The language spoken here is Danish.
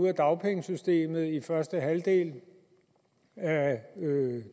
ud af dagpengesystemet i første halvdel af